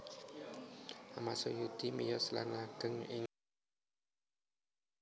Achmad Sujudi miyos lan ageng ing kulawarga guru